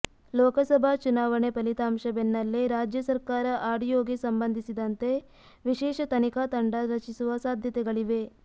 ಲೋಕಸಭಾ ಚುನಾವಣೆ ಫಲಿತಾಂಶ ಬೆನ್ನಲ್ಲೇ ರಾಜ್ಯ ಸರ್ಕಾರ ಆಡಿಯೋಗೆ ಸಂಬಂಧಿಸಿದಂತೆ ವಿಶೇಷ ತನಿಖಾ ತಂಡ ರಚಿಸುವ ಸಾಧ್ಯತೆಗಳಿವೆ